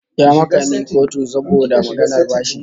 Ya maka ni a kotu saboda maganar bashi